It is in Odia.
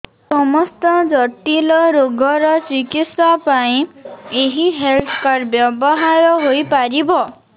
ସମସ୍ତ ଜଟିଳ ରୋଗର ଚିକିତ୍ସା ପାଇଁ ଏହି ହେଲ୍ଥ କାର୍ଡ ବ୍ୟବହାର ହୋଇପାରିବ